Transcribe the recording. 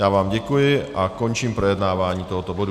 Já vám děkuji a končím projednávání tohoto bodu.